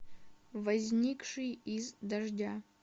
возникший из дождя